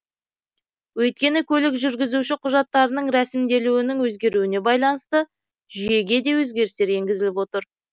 өйткені көлік жүргізуші құжаттарының рәсімделуінің өзгеруіне байланысты жүйеге де өзгерістер енгізіліп отыр